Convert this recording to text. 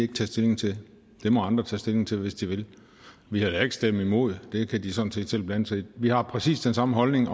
ikke tage stilling til det må andre tage stilling til hvis de vil vi har heller ikke stemt imod det kan de sådan set selv blande sig i vi har præcis den samme holdning